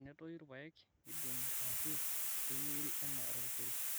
enetuyu irpaek nidongi arashu eiyeri enaa orkeseri